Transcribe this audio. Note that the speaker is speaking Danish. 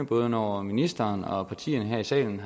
både når ministeren og partierne her i salen